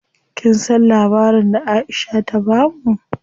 Kin san labarin da Aisha ta bamu?